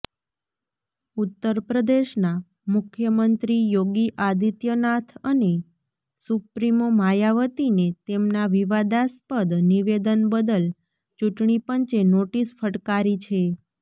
ઉત્તરપ્રદેશના મુખ્યમંત્રી યોગી આદિત્યનાથ અને સુપ્રિમો માયાવતીને તેમના વિવાદાસ્પદ નિવેદન બદલ ચૂંટણીપંચે નોટીસ ફટકારી છે